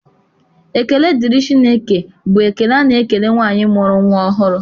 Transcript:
Ekele dịrị Chukwu bụ ekele a na-ekele nwaanyị mụrụ nnwa ọhụrụ.